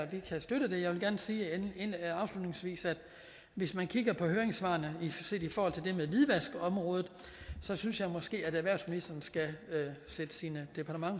vi kan støtte det jeg vil gerne sige afslutningsvis at hvis man kigger på høringssvarene set i forhold til det med hvidvaskområdet så synes jeg måske at erhvervsministeren skulle sætte sine